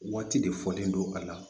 Waati de fɔlen don a la